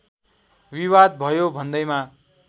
विवाद भयो भन्दैमा